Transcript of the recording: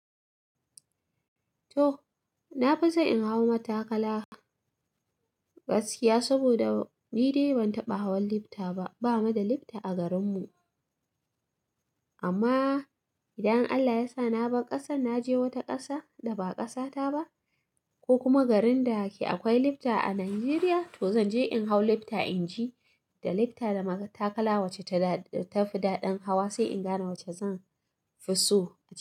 To, na fi so in hau matakala gaskiya, saboda ni dai ban taɓa hawan lifta ba. Ba mu da lifta a garin mu amma idan Allah ya sa na bar ƙasar na je wata ƙasa da ba ƙasata ba, ko kuma garin da ke akwai lifta a Najeriya, to zan je in hau lifta in ji da lifta da matakala wace ta fi daɗin hawa sai in gane wace zan fi so.